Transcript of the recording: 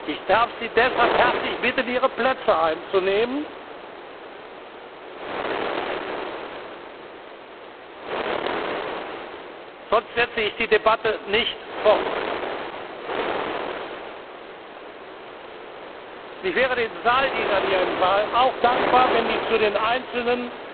Ich darf Sie deshalb herzlich bitten, Ihre Plätze einzunehmen, sonst setze ich die Debatte nicht fort. Ich wäre den Saaldienern hier im Saal auch dankbar, wenn sie zu den einzelnen